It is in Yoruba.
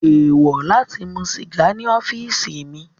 Eewọ lati mu siga ni ọfiisi mi